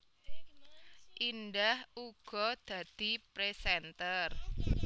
Indah uga dadi presenter